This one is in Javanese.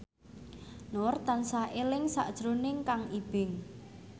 Nur tansah eling sakjroning Kang Ibing